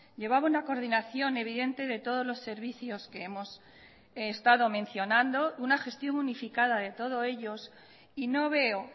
llevaba una coordinación evidente de todos los servicios que hemos estado mencionando una gestión unificada de todos ellos y no veo